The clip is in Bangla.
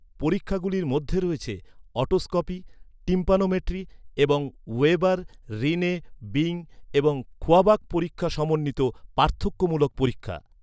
পরীক্ষাগুলির মধ্যে রয়েছে অটোস্কোপি, টিম্প্যানোমেট্রি এবং ওয়েবার, রিনে, বিং এবং খোয়াবাক পরীক্ষা সমন্বিত পার্থক্যমূলক পরীক্ষা।